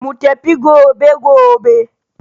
Mu tafi gobe gobe.